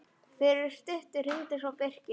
Fyrir stuttu hringdi svo Birkir.